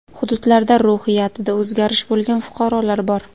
Hududlarda ruhiyatida o‘zgarish bo‘lgan fuqarolar bor.